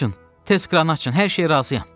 Açın, tez kranı açın, hər şeyə razıyam.